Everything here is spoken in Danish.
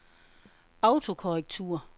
autokorrektur